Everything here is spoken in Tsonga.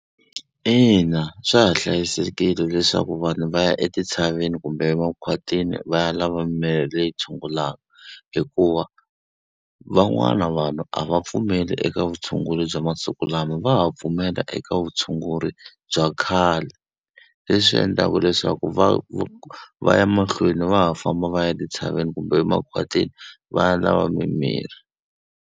Ina, swa ha hlayisekile leswaku vanhu va ya etintshaveni kumbe makhwatini va ya lava mimirhi leyi tshungulaka, hikuva van'wana vanhu a va pfumeli eka vutshunguri bya swa masiku lama va ha pfumela eka vutshunguri bya khale. Leswi endlaka leswaku va va ya mahlweni va ha famba va ya etintshaveni kumbe makhwatini va ya lava mimirhi.